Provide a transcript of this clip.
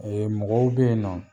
mɔgɔw be yen nɔ